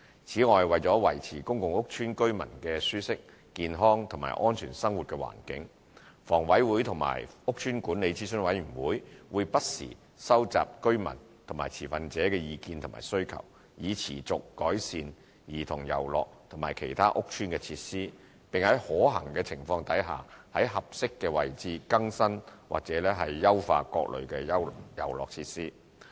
此外，為了維持公共屋邨居民的舒適、健康和安全生活環境，房委會和屋邨管理諮詢委員會會不時收集居民及持份者的意見和需求，以持續改善兒童遊樂及其他屋邨設施，並在可行情況下在合適位置更新或優化各類遊樂設施。